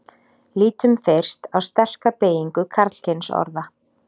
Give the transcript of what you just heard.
lítum fyrst á sterka beygingu karlkynsorða